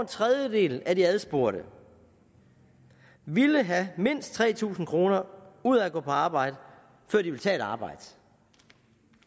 tredjedel af de adspurgte ville have mindst tre tusind kroner ud af at gå på arbejde før de ville tage et arbejde